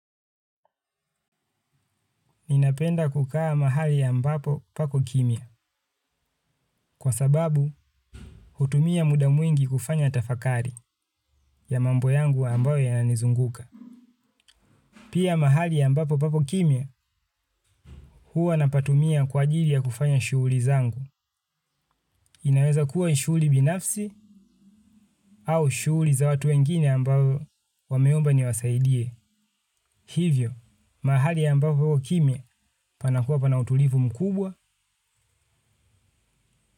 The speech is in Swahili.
Ninapenda kukaa mahali ambapo pako kimya kwa sababu utumia muda mwingi kufanya tafakari ya mambo yangu yanayonizunguka pia mahali ya mbapo pako kimya huwa napatumia kwa ajili ya kufanya shughuli zangu inaweza kuwa shughuli binafsi au shughuli za watu wengine ambao wameomba niwasaidie hivyo, mahali ya mbapo pako kimya panakuwa panautulivu mkubwa.